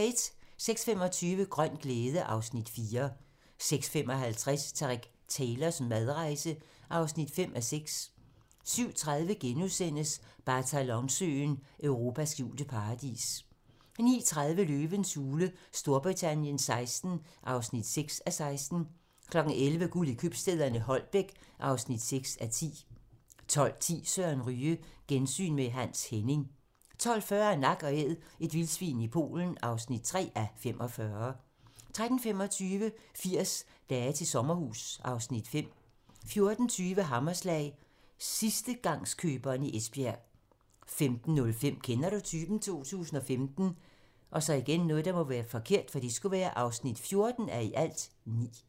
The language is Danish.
06:25: Grøn glæde (Afs. 4) 06:55: Tareq Taylors madrejse (5:6) 07:30: Balatonsøen: Europas skjulte paradis * 09:30: Løvens hule Storbritannien XVI (6:16) 11:00: Guld i købstæderne - Holbæk (6:10) 12:10: Søren Ryge: Gensyn med Hans Henning 12:40: Nak & Æd - et vildsvin i Polen (3:45) 13:25: 80 dage til sommerhus (Afs. 5) 14:20: Hammerslag - sidstegangskøberen i Esbjerg 15:05: Kender du typen? 2015 (14:9)